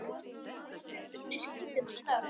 Þú hefur unnið skrítin störf?